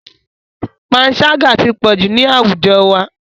Panṣágà ti pọ̀jù ní àwùjọ wa.